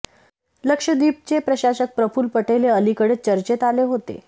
लक्षद्वीपचे प्रशासक प्रफुल्ल पटेल हे अलिकडेच चर्चेत आले होते